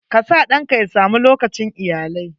KA sa ɗanka ya sa mu lokacin iyalai.